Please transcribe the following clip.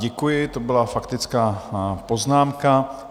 Děkuji, to byla faktická poznámka.